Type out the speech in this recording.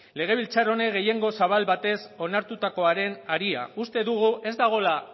legebiltzar honen gehiengo zabal batez onartutakoaren harira uste dugu ez dagoela